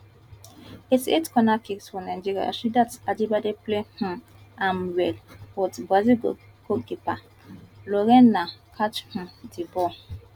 eighty eight corner kick for nigeria rasheedat ajibade play um am well but brazil goalkeeper lorena catch um di ball